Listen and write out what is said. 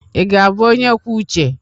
Ị ga-abụ onye kwuo uche?